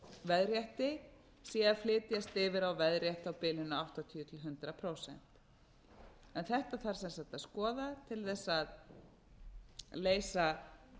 veðrétti sé að flytjast yfir á veðrétt á bilinu áttatíu til hundrað prósent þetta þarf sem sagt að skoða til þess að leysa